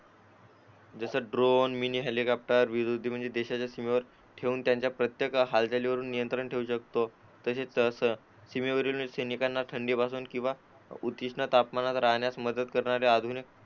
जसं drone mini helicopter देशाच्या सीमेवर ठेऊन त्यांच्या प्रत्येक हालचालींवर नियंत्रण ठेवू शकतो तसेच सीमेवरील सैनिकांना थंडी वाजून किंवा उष्णते तापमानात राहण्यास मदत